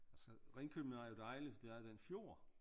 Altså Ringkøbing er jo dejlig for der er den fjord